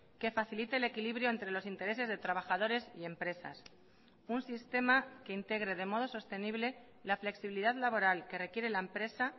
que facilite el equilibrio entre los intereses de trabajadores y empresas un sistema que integre de modo sostenible la flexibilidad laboral que requiere la empresa